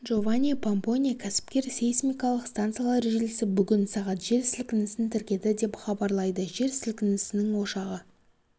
джованни помпони кәсіпкер сейсмикалық станциялар желісі бүгін сағат жер сілкінісін тіркеді деп хабарлайды жер сілкінісінің ошағы